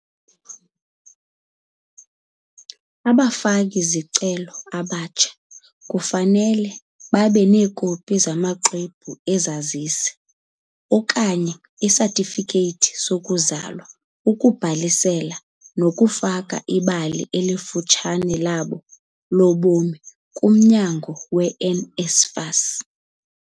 Abafaki-zicelo abatsha kufanele babe neekopi zamaXwebhu eZazisi okanye izatifikethi zokuzalwa ukubhalisela nokufaka ibali elifutshane labo lobomi kumnyango we-NSFAS .